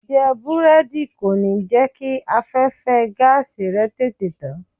Jíjẹ Búrẹ́dì kò ní jẹ́ kí afẹ́fẹ́ẹ gáàsì rẹ tètè tán.